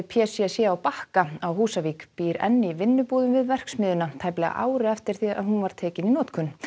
p c c á Bakka á Húsavík býr enn í vinnubúðum við verksmiðjuna tæplega ári eftir að hún var tekin í notkun